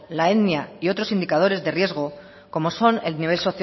la etnia y otros indicadores de riesgo como son el